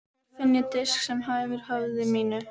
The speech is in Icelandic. Hvar finn ég disk sem hæfir höfði mínu?